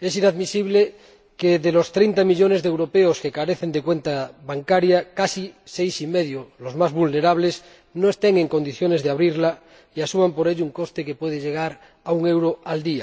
Es inadmisible que de los 30 millones de europeos que carecen de cuenta bancaria, casi 6,5 millones, los más vulnerables, no estén en condiciones de abrirla y asuman por ello un coste que puede llegar a un euro al día.